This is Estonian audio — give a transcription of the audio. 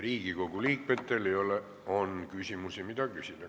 Riigikogu liikmetel on veel küsimusi, mida küsida.